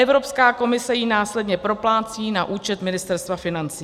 Evropská komise ji následně proplácí na účet Ministerstva financí.